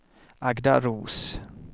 Agda Roos